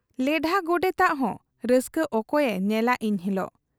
ᱞᱮᱰᱷᱟ ᱜᱚᱰᱮᱛᱟᱜ ᱦᱚᱸ ᱨᱟᱹᱥᱠᱟᱹ ᱚᱠᱚᱭᱮ ᱧᱮᱞᱟ ᱤᱱ ᱦᱤᱞᱚᱜ ?